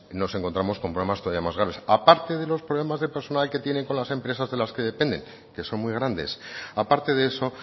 nos encontramos con problemas todavía más graves a parte de los problemas de personal que tienen con las empresas de las que depende que son muy grandes aparte de eso